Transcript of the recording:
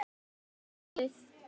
Og veðrið.